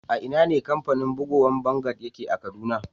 A'ina ne kamfanin bugowan vanguard yake a Kaduna?